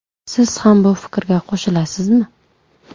Siz ham bu fikrga qo‘shilasizmi?